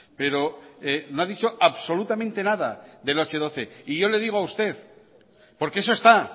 pero no ha dicho absolutamente nada del hache doce y yo le digo a usted porque eso está